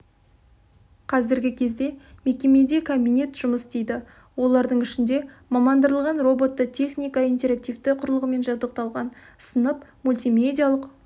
қазіргі кезде мекемеде кабинет жұмыс істейді олардың ішінде мамандандырылған роботты техника интерактивті құрылғымен жабдықталған сынып мультимедиялық